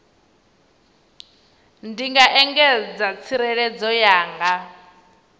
ndi nga engedza tsireledzo yanga